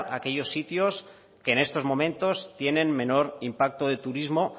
aquellos sitios que en estos momentos tienen menor impacto de turismo